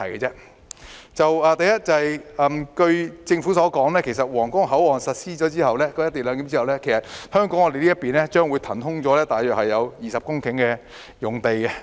第一，據政府所說，在皇崗口岸實施"一地兩檢"後，香港這邊將會騰空大約20公頃用地。